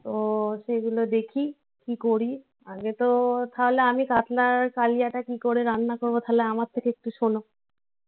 তো সেগুলো দেখি. কি করি? আগে তো তাহলে আমি কাতলার কালিয়াটা কি করে রান্না করবো? তাহলে আমার থেকে একটু শোনো.